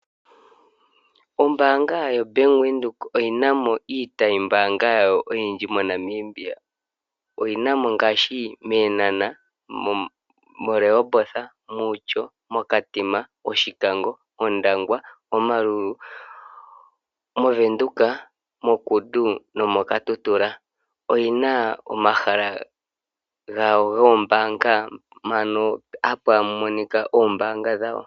Ombanga yoBank Windhoek oyina mo iitayi mbanga yawo oyindji moNamibia. Oyina mo ngaashi me Eenhana, moRehoboth, Outjo, Okatima, Oshikango, Ondangwa Omaruru, moVenduka moKudu nomoKatutura. Oyina omahala gawo goombaga mbano hapa monika ombaanga dhawo.